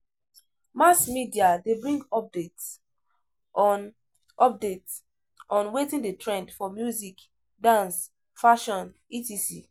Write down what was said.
Mass media de bring updates on updates on wetin de trend for music, dance, fashion etc.